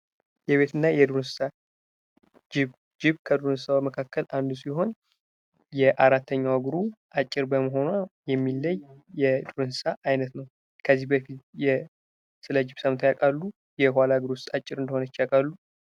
ጅብ የዃላ እግሩ አጭር የሆነ የዱር እንስሳት ነው ።እናንተ ከዚህ በፊት ስለ ጅብ ሰምታችሁ ታውቃላችሁ? የኳላ እግሩስ አጭር እንደሆነ ታውቃላችሁ?